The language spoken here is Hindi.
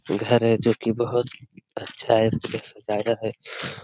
घर है जो की बहोत अच्छा है सजाया है।